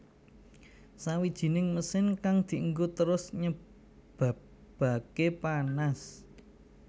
Sawijining mesin kang dienggo terus nyebabake panas